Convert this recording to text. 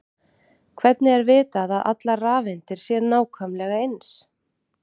hvernig er vitað að allar rafeindir séu nákvæmlega eins